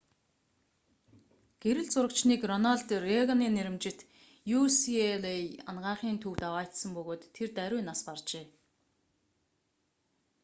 гэрэл зурагчныг рональд рейганий нэрэмжит ucla анагаахын төвд аваачсан бөгөөд тэр даруй нас баржээ